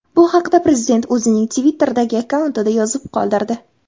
Bu haqda prezident o‘zining Twitter’dagi akkauntida yozib qoldirdi .